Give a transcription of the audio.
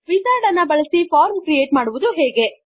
wizard ಅನ್ನು ಬಳಸಿ form create ಮಾಡುವುದು ಹೇಗೆ